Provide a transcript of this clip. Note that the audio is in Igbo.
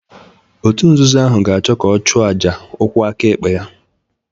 Òtù nzuzo ahụ ga-achọ ka ọ chụọ àjà ụkwụ aka ekpe ya